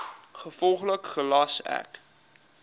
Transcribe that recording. gevolglik gelas ek